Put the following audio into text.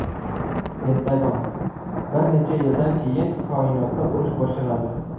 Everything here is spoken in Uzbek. Pentagon: bir necha yildan keyin koinotda urush boshlanadi.